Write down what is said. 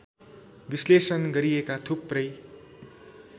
विश्लेषण गरिएका थुप्रै